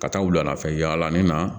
Ka taa wulada fɛ yaala min na